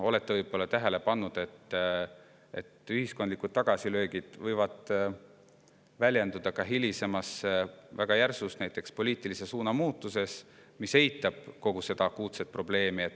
Olete võib-olla tähele pannud, et ühiskondlikud tagasilöögid võivad väljenduda ka hilisemas väga järsus poliitilise suuna muutuses, mis eitab kogu seda akuutset probleemi.